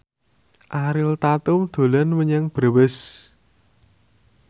Ariel Tatum dolan menyang Brebes